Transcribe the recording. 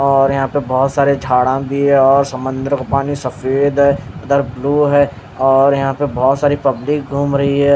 और यहाँ पे बहुतसारा झाड़ा भी है और समंदर का पानी सफ़ेद है उदर ब्लू है और यहाँ पे बहुतसारी पब्लिक घूम रही है--